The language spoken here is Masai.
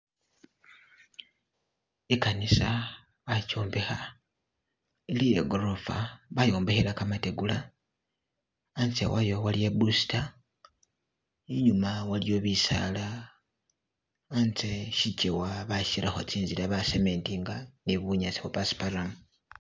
Ikanisa bayombekha ili yegorofa bayombekhle gamategula hanze wayo iliyo iboosita inyuma waliyo bisaala hatse shigewa bashirakho tsizila ba cementinga ni bunyasi bwo passparam.